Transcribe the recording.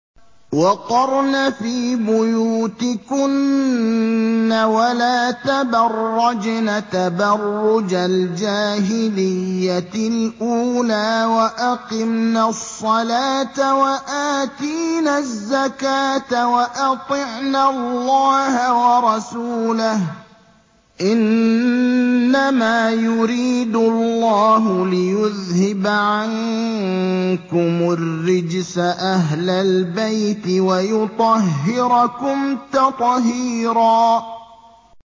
وَقَرْنَ فِي بُيُوتِكُنَّ وَلَا تَبَرَّجْنَ تَبَرُّجَ الْجَاهِلِيَّةِ الْأُولَىٰ ۖ وَأَقِمْنَ الصَّلَاةَ وَآتِينَ الزَّكَاةَ وَأَطِعْنَ اللَّهَ وَرَسُولَهُ ۚ إِنَّمَا يُرِيدُ اللَّهُ لِيُذْهِبَ عَنكُمُ الرِّجْسَ أَهْلَ الْبَيْتِ وَيُطَهِّرَكُمْ تَطْهِيرًا